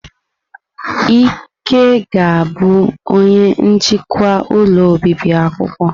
Ike ga-abụ onye njikwa ụlọ obibi akwụkwọ.